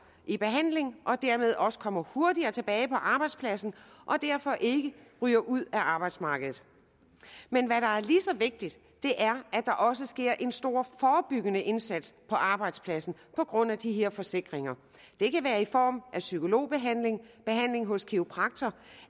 i behandling og derved også kommer hurtigere tilbage på arbejdspladsen og derfor ikke ryger ud af arbejdsmarkedet men hvad der er lige så vigtigt er at der også sker en stor forebyggende indsats på arbejdspladsen på grund af de her forsikringer det kan være i form af psykologbehandling behandling hos kiropraktor